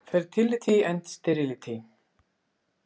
Fertility and Sterility.